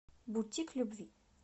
бутик любви